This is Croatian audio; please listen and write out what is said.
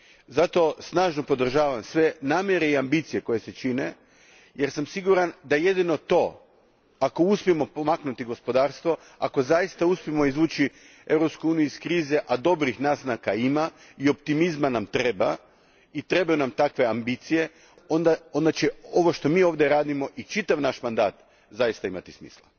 Zato snažno podržavam sve namjere i ambicije koje se čine, jer sam siguran da jedino to, ako uspijemo pomaknuti gospodarstvo, ako zaista uspijemo izvući Europsku uniju iz krize, a dobrih naznaka ima, i optimizma nam treba i trebaju nam takve ambicije, onda će sve ovo što mi ovdje radimo i čitav naš mandat zaista imati smisla.